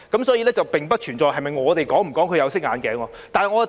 所以，並不存在我們是否戴"有色眼鏡"。